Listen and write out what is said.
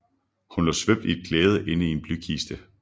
Hun lå svøbt i et klæde inde i en blykiste